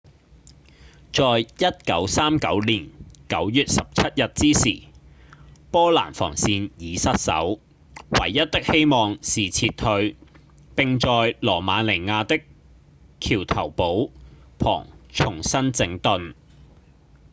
在1939年9月17日之時波蘭防線已失守唯一的希望是撤退並在羅馬尼亞的橋頭堡旁重新整頓